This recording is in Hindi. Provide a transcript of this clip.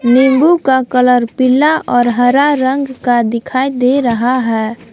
नींबू का कलर पीला और हरा रंग का दिखाई दे रहा है।